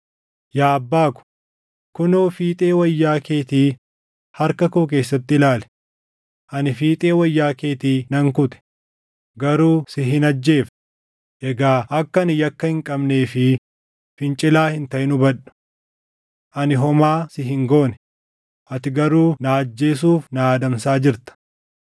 Yaa abbaa ko, kunoo fiixee wayyaa keetii harka koo keessatti ilaali! Ani fiixee wayyaa keetii nan kute; garuu si hin ajjeefne. Egaa akka ani yakka hin qabnee fi fincilaa hin taʼin hubadhu. Ani homaa si hin goone; ati garuu na ajjeesuuf na adamsaa jirta.